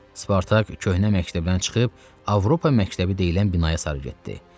Spartak köhnə məktəbdən çıxıb Avropa məktəbi deyilən binaya sarı getdi.